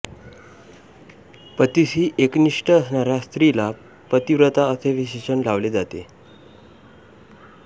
पतीशी एकनिष्ठ असणाऱ्या स्त्रीला पतिव्रता असे विशेषण लावले जाते